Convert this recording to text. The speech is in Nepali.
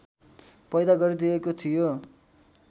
पैदा गरिदिएको थियो